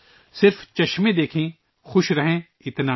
بس عینک سے دیکھیں ، مزہ کریں ، اتنا نہیں